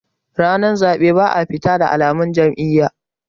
ranar zaɓe ba a fita da alamun Jam'iyya